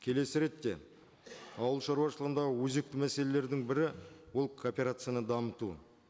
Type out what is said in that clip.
келесі ретте ауыл шаруашылығында өзекті мәселелердің бірі ол кооперацияны дамыту